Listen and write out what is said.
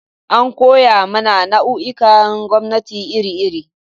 An koya mana nau'ikan gwamnati iri-iri.